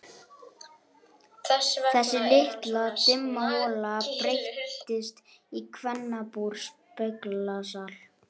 Þessi litla dimma hola breyttist í kvennabúr, speglasal.